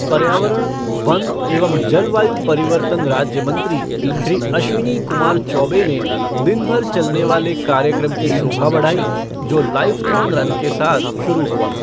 पर्यावरण, वन एवं जलवायु परिवर्तन राज्य मंत्री, श्री अश्विनी कुमार चौबे ने दिन भर चलने वाले कार्यक्रम की शोभा बढ़ाई, जो लाइफ़थॉन रन के साथ शुरू हुआ।